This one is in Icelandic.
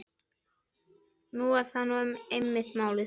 Það er nú einmitt málið.